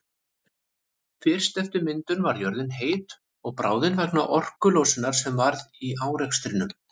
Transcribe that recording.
Fyrst eftir myndun var jörðin heit og bráðin vegna orkulosunar sem varð í árekstrunum.